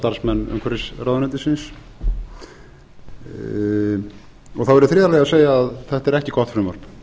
starfsmenn umhverfisráðuneytisins þá verð ég í þriðja lagi að segja að þetta er ekki gott frumvarp